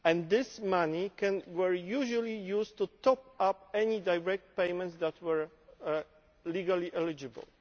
This money was usually used to top up any direct payments that were legally eligible.